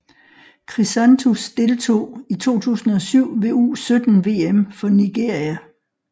Chrisantus deltog i 2007 ved U17 VM for Nigeria